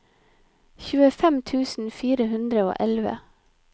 tjuefem tusen fire hundre og elleve